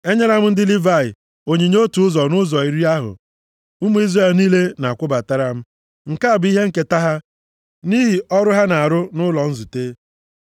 “Enyela m ndị Livayị, onyinye otu ụzọ nʼụzọ iri ahụ ụmụ Izrel niile na-akwụbatara m. Nke a bụ ihe nketa ha nʼihi ọrụ ha na-arụ nʼụlọ nzute.